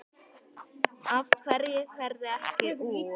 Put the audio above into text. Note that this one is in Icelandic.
Af hverju ferðu ekki úr?